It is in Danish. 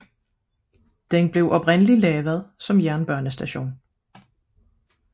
Den blev oprindeligt etableret som jernbanestation